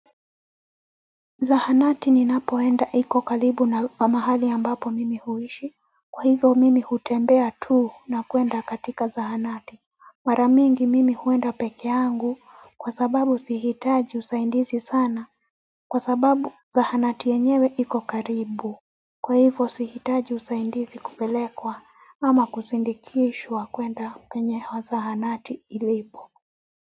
Zahanati ninapoenda iko karibu na mahali ambapo mimi huishi, kwa hivyo mimi hutembea tu na kwenda katika zahanati. Mara mingi mimi huenda pekeangu kwa sababu sihitaji usaindizi sana kwa sababu zahanati yenyewe iko karibu. Kwa hivyo sihitaji usaindizi kupelekwa ama kusindikishwa kwenda kwenye hiyo zahanati ilipo.